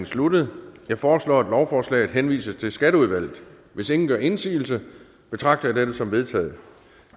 sluttet jeg foreslår at lovforslaget henvises til skatteudvalget hvis ingen gør indsigelse betragter jeg dette som vedtaget